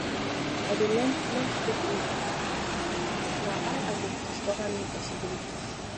i dey learn learn to take risks na how i go discover new possibilities